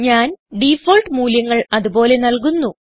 ഞാൻ ഡിഫാൾട്ട് മൂല്യങ്ങൾ അത് പോലെ നൽകുന്നു